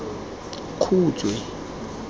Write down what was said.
khutshwe